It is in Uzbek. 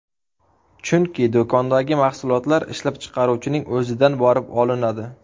Chunki do‘kondagi mahsulotlar ishlab chiqaruvchining o‘zidan borib olinadi.